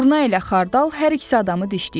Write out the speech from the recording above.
Durna ilə xardal hər ikisi adamı dişləyir.